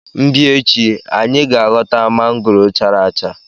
m bia echi, anyi ga ghota mangoro chara acha.